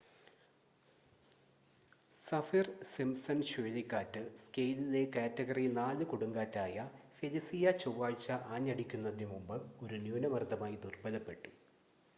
Saffir-Simpson ചുഴലിക്കാറ്റ് സ്കെയിലിലെ category 4 കൊടുങ്കാറ്റായ ഫെലിസിയ ചൊവ്വാഴ്ച ആഞ്ഞടിക്കുന്നതിനുമുമ്പ് ഒരു ന്യൂനമർദ്ദമായി ദുർബലപ്പെട്ടു